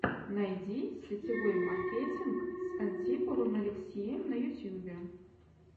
найди сетевой маркетинг с антиповым алексеем на ютьюбе